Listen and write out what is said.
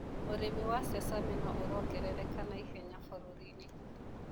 ũrĩmi wa sesame noũrongerereka naihenya bũruriinĩ.